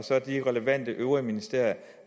de relevante øvrige ministerier